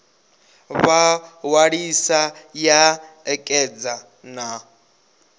vha ṅwalisa ya ṋekedza na